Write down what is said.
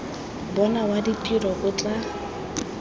bona wa ditiro o tla